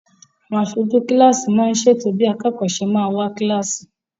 Àwọn aṣojú kilasi món ṣètò bí akẹkọ ṣe má wá kilasi.